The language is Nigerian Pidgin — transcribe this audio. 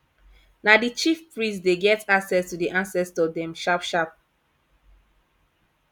na di chief priest dey get access to di ancestor dem sharpsharp